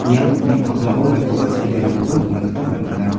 ia nokni pakmao maikoba seanirangkoba nikna gita man·enga.